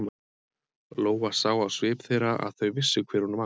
Lóa sá á svip þeirra að þau vissu hver hún var.